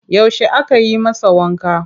Yaushe aka yi masa wanka?